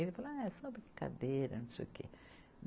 Ele falou, ah, é só brincadeira, não sei o quê.